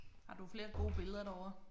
Har du flere gode billeder derovre?